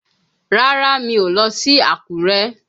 Rárá, mi ò lọ sí Àkúrẹ́.